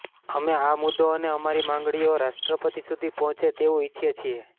અમે આ મુદ્દો અને અમારી માંગણીઓ રાષ્ટ્રપતિ સુધી પહોંચે તેવું ઈચ્છીએ છીએ